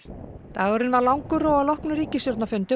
dagurinn var langur og að loknum ríkisstjórnarfundi